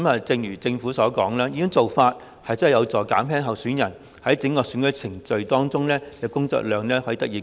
正如政府所說，這項改變的確有助減輕候選人在整個選舉程序中的工作量。